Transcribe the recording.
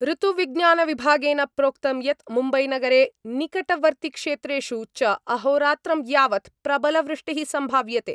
ऋतुविज्ञानविभागेन प्रोक्तं यत् मुम्बैनगरे निकटवर्तिक्षेत्रेषु च अहोरात्रं यावत् प्रबलवृष्टिः सम्भाव्यते।